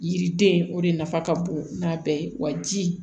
Yiriden o de nafa ka bon n'a bɛɛ ye wa ji